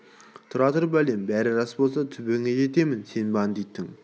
тұра тұр бәлем бары рас болса түбіңе жетемін сен бандиттің